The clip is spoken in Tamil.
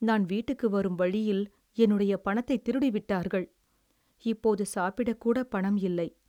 நான் வீட்டுக்கு வரும் வழியில் என்னுடைய பணத்தைத் திருடி விட்டார்கள், இப்போது சாப்பிடக்கூடப் பணம் இல்லை.